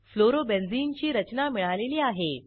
fluorobenzene ची रचना मिळालेली आहे